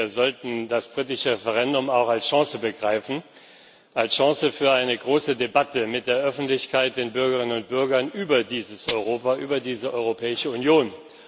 Wir sollten das britische Referendum auch als Chance begreifen, als Chance für eine große Debatte mit der Öffentlichkeit, den Bürgerinnen und Bürgern über dieses Europa, über diese Europäische Union.